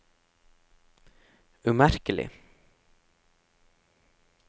umerkelig